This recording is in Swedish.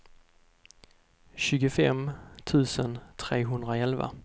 tjugofem tusen trehundraelva